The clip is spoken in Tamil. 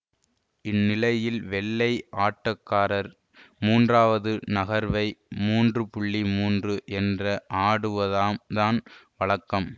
இந்நிலையில் வெள்ளை ஆட்டக்காரர் மூன்றாவது நகர்வை மூன்று மூன்று என்ற ஆடுவத தான் வழக்கம்